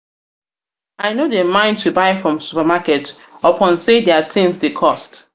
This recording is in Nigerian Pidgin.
i no dey mind to buy from supermarket upon from supermarket upon sey their tins dey cost.